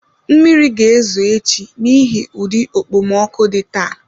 Mmiri ga-ezo echi n'ihi ụdị okpomọkụ dị taa